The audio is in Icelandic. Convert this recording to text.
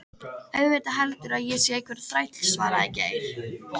Auðvitað, heldurðu að ég sé einhver þræll svaraði Geir.